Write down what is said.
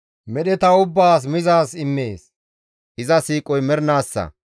Medheta ubbaas mizaaz immees; iza siiqoy mernaassa.